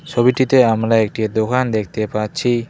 ছবিটিতে আমরা একটি দোকান দেখতে পাচ্ছি।